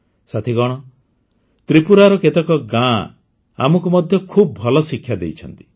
ସାଥିଗଣ ତ୍ରିପୁରାର କେତେକ ଗ୍ରାମ ମଧ୍ୟ ଆମକୁ ଖୁବ୍ ଭଲ ଶିକ୍ଷା ଦେଇଛନ୍ତି